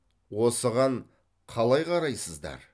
осыған қалай қарайсыздар